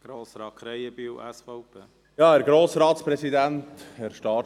Als Erstes hat Grossrat Krähenbühl das Wort.